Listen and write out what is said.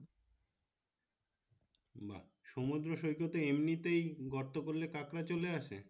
সমুদ্র সৈকতে এমনিতেই গর্ত করলে কাঁকড়া চলে আসে